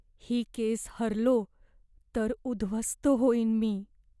ही case हरलो तर उध्वस्त होईन मी.